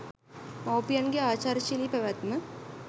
මවුපියන්ගේ ආචාරශීලි පැවැත්ම